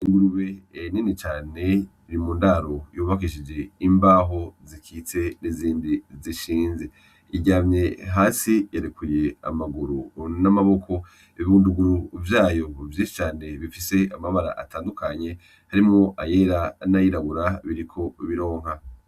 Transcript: Ingurube nini cane iri mu ndaro yubakishije imbaho zikitse n'izindi zishinze . Iryamye hasi irekuye amaguru n'amaboko ibibunduguru vyayo vyinshi cane bifise amabara atandukanye harimwo ayera n'ayirabura biriko bironka.